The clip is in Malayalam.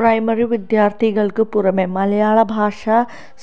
പ്രൈമറി വിദ്യാര്ഥികള്ക്ക് പുറമേ മലയാള ഭാഷ